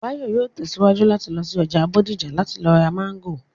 Báyọ̀ yóò tẹ̀síwájú láti lọ sí ọjà Bódìjà láti lọ ra Máńgò